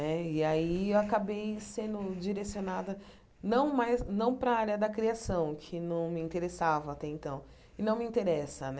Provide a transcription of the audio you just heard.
Né e aí eu acabei sendo direcionada não mais não para a área da criação, que não me interessava até então, e não me interessa né.